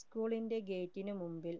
school ന്റെ gate നു മുമ്പിൽ